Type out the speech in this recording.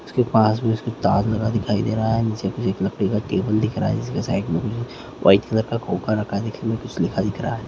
इसके पास भी उसके ताज लगा दिखाई दे रहा है नीचे कुछ एक लकड़ी का टेबल दिख रहा है जिसके साइड में कुछ व्हाइट कलर का खोखा रखा दिख रहा है।